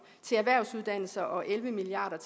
til erhvervsuddannelser og elleve milliard